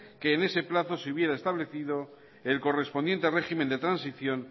que en ese plazo se hubiera establecido el correspondiente régimen de transición